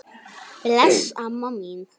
Bless, amma mín.